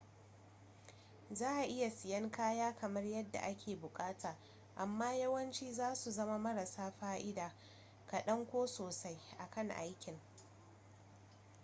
za a iya siyan kaya kamar yadda ake bukata, amma yawanci zasu zama marasa fa’ida kadan ko sosai akan aikin